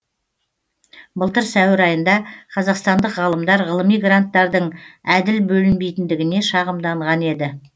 былтыр сәуір айында қазақстандық ғалымдар ғылыми гранттардың әділ бөлінбейтіндігіне шағымданған еді